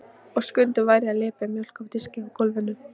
Og Skundi væri að lepja mjólk af diski á gólfinu.